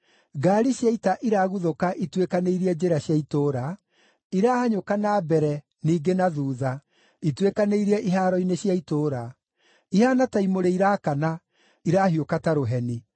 Ngaari cia ita iraguthũka ituĩkanĩirie njĩra cia itũũra, irahanyũka na mbere, ningĩ na thuutha, ituĩkanĩirie ihaaro-inĩ cia itũũra. Ihaana ta imũrĩ irakana; irahiũka ta rũheni.